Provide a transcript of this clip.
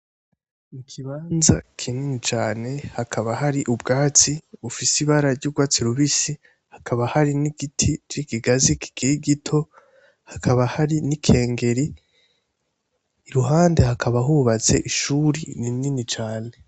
Ikibanza kinini cane hakaba hari ubwatsi bufise ibara ry'urwatsi rubisi, hakaba hari n'igiti c'ikigazi kikiri gito, hakaba hari n'ikengeri. Iruhande hakaba hubatse ishuri rinini cane.